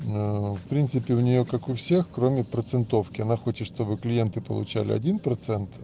в принципе у неё как у всех кроме процентовки она хочет чтобы клиенты получали один процент